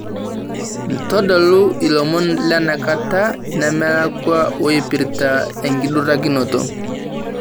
ntodolu ilomon lenakata nemelakua oipirta enkidurakinoto